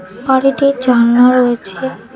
বাড়িটির জানলা রয়েছে।